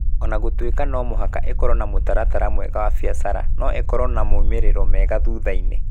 O na gũtuĩka no mũhaka ĩkorũo na mũtaratara mwega wa biacara, no ĩkorũo na moimĩrĩro mega thutha-inĩ.